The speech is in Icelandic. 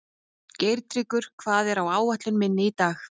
Geirtryggur, hvað er á áætluninni minni í dag?